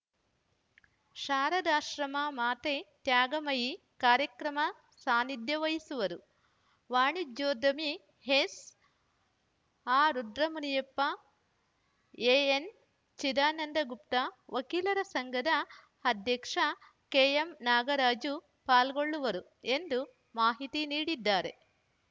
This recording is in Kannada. ಶಾರದಾಶ್ರಮ ಮಾತೆ ತ್ಯಾಗಮಯಿ ಕಾರ್ಯಕ್ರಮ ಸಾನ್ನಿಧ್ಯ ವಹಿಸುವರು ವಾಣಿಜ್ಯೋದ್ಯಮಿ ಎಸ್‌ಆರ್‌ ರುದ್ರಮುನಿಯಪ್ಪ ಎಎನ್‌ಚಿದಾನಂದಗುಪ್ತ ವಕೀಲರ ಸಂಘದ ಅಧ್ಯಕ್ಷ ಕೆಎಂನಾಗರಾಜು ಪಾಲ್ಗೊಳ್ಳುವರು ಎಂದು ಮಾಹಿತಿ ನೀಡಿದ್ದಾರೆ